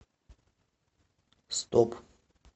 стоп